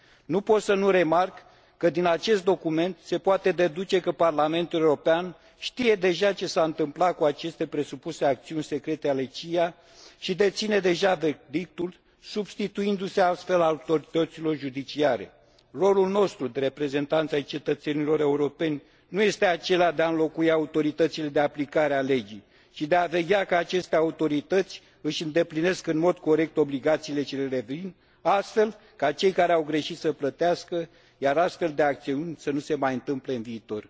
Nu pot să nu remarc că din acest document se poate deduce că Parlamentul European știe deja ce s a întâmplat cu aceste presupuse acțiuni secrete ale CIA și deține deja verdictul, substituindu se astfel autorităților judiciare. Rolul nostru de reprezentanți ai cetățenilor europeni nu este acela de a înlocui autoritățile de aplicare a legii, ci de a veghea că aceste autorități își îndeplinesc în mod corect obligațiile ce le revin, astfel ca cei care au greșit să plătească, iar astfel de acțiuni să nu se mai întâmple în viitor.